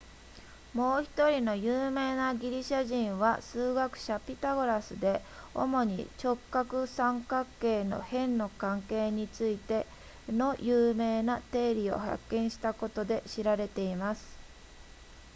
もう1人の有名なギリシャ人は数学者ピタゴラスで主に直角三角形の辺の関係についての有名な定理を発見したことで知られています